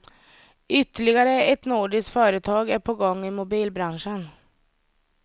Ytterligare ett nordiskt företag är på gång i mobilbranschen.